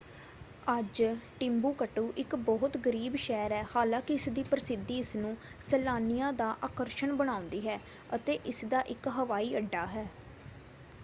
ਅੱਜ ਟਿੰਬੂਕਟੂ ਇੱਕ ਬਹੁਤ ਗਰੀਬ ਸ਼ਹਿਰ ਹੈ ਹਾਲਾਂਕਿ ਇਸਦੀ ਪ੍ਰਸਿੱਧੀ ਇਸਨੂੰ ਸੈਲਾਨੀਆਂ ਦਾ ਆਕਰਸ਼ਣ ਬਣਾਉਂਦੀ ਹੈ ਅਤੇ ਇਸਦਾ ਇੱਕ ਹਵਾਈ ਅੱਡਾ ਹੈ।